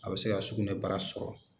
A bɛ se ka sugunɛ bara sɔrɔ